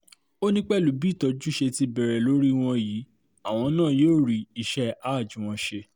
ó ní pẹ̀lú bí ìtọ́jú ṣe ti bẹ̀rẹ̀ lórí wọn yìí àwọn náà yóò rí iṣẹ́ hajj wọn ṣe